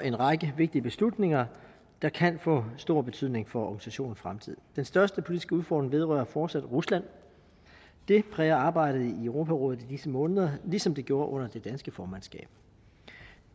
en række vigtige beslutninger der kan få stor betydning for organisationens fremtid den største politiske udfordring vedrører fortsat rusland det præger arbejdet i europarådet i disse måneder ligesom det gjorde under det danske formandskab